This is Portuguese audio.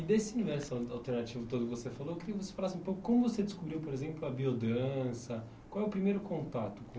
E desse universo al alternativo todo que você falou, eu queria que você falasse um pouco como você descobriu, por exemplo, a biodança, qual é o primeiro contato com